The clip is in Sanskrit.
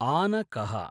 आनकः